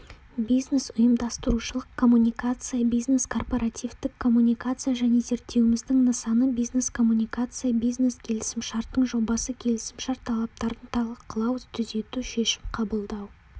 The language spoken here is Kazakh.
бизнес ұйымдастырушылық коммуникация бизнес-корпоративтік коммуникация және зерттеуіміздің нысаны бизнес-коммуникация бизнес-келісімшарттың жобасы келісімшарт талаптарын талқылау түзету шешім қабылдау